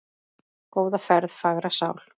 Góða ferð, fagra sál.